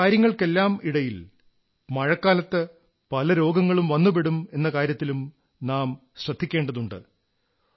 ഈ കാര്യങ്ങൾക്കെല്ലാമിടയിൽ മഴക്കാലത്ത് പല രോഗങ്ങളും വന്നുപെടും എന്ന കാര്യത്തിലും നാം ശ്രദ്ധ വയ്ക്കേണ്ടതുണ്ട്